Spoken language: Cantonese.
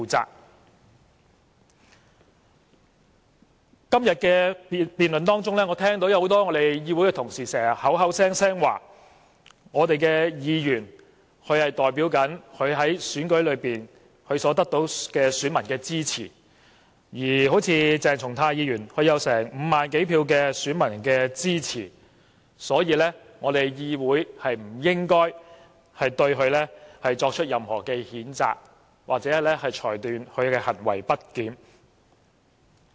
在今天的辯論中，我聽到很多同事口口聲聲說，議員代表選舉中支持他們的選民，正如鄭松泰議員得到5萬多名選民的支持，所以議會不應該對他作出任何譴責，或裁定他的行為不檢。